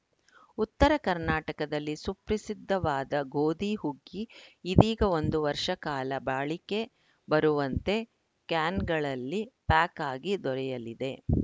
ಉತ್ತರ ಕರ್ನಾಟಕದಲ್ಲಿ ಸುಪ್ರಸಿದ್ಧವಾದ ಗೋಧಿ ಹುಗ್ಗಿ ಇದೀಗ ಒಂದು ವರ್ಷಕಾಲ ಬಾಳಿಕೆ ಬರುವಂತೆ ಕ್ಯಾನ್‌ಗಳಲ್ಲಿ ಪ್ಯಾಕ್‌ ಆಗಿ ದೊರೆಯಲಿದೆ